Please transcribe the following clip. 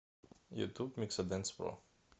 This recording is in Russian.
ютуб миксадэнс про